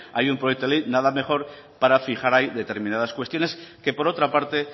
hay un proyecto de ley nada mejor para fijar ahí determinadas cuestiones que por otra parte